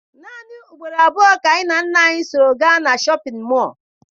Naanị ugboro abụọ ka anyị na nna anyị so gaa na Shọpịn mọọ.